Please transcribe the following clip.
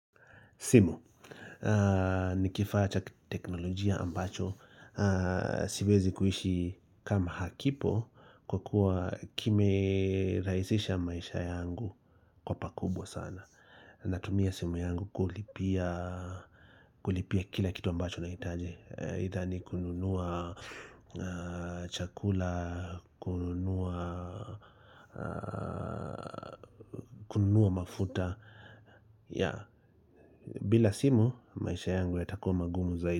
Simu, ni kifaa cha teknolojia ambacho, siwezi kuishi kama hakipo kwa kuwa kimerahisisha maisha yangu kwa pakubwa sana. Natumia simu yangu kulipia kila kitu ambacho nahitaji, aidha ni kununua chakula, kununua mafuta. Bila simu maisha yangu yatakuwa magumu zaidi.